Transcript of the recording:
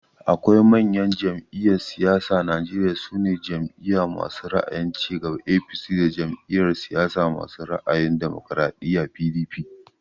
Akwai manyan jam'iyyan siyasa a Najeriya, su ne Jam'iya masu ra'ayin cigaba (APC) da Jam'iyar siyasa masu ra'ayin damokaraɗiya (PDP)